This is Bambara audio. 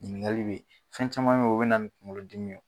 Ɲiniŋali be ye. Fɛn caman be ye o be na ni kuŋolodimi ye.